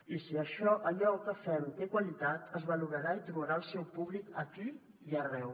i si allò que fem té qualitat es valorarà i trobarà el seu públic aquí i arreu